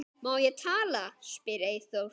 Má ég tala? spyr Eyþór.